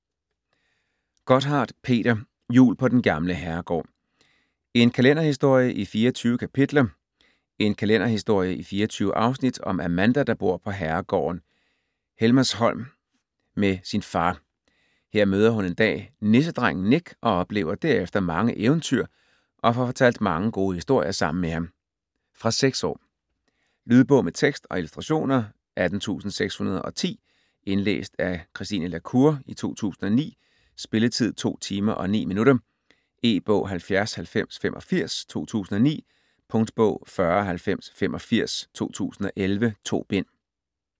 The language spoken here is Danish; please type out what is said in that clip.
Gotthardt, Peter: Jul på den gamle herregård: en kalenderhistorie i 24 kapitler En kalenderhistorie i 24 afsnit om Amanda der bor på herregården Helmershom med sin far. Hun møder en dag nissedrengen Nik og oplever derefter mange eventyr og får fortalt mange gode historier sammen med ham. Fra 6 år. Lydbog med tekst og illustrationer 18610 Indlæst af Christine La Cour, 2009. Spilletid: 2 timer, 9 minutter. E-bog 709085 2009. Punktbog 409085 2011. 2 bind.